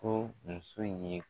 Ko muso in ye